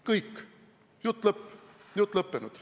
Kõik, jutt lõppenud!